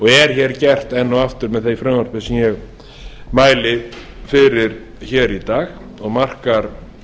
er hér gert enn og aftur með því frumvarpi sem ég mæli fyrir í dag og markar